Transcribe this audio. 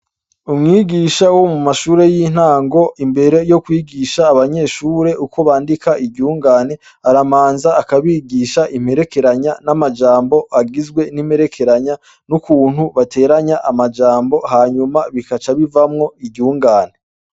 Umwigisha wo mumashure yintango , imbere yokwigisha abanyeshure uko bandika iryungane aramanza akabigisha imperekeranya namajambo agizwe nimperekenya nukuntu bateranya amajambo bigaca bivamwo iryungane.